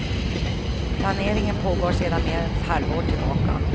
Planeringen pågår sedan mer än ett halvt år tillbaka.